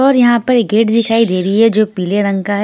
और यहां पर गेट दिखाई दे रही है जो पीले रंग का है।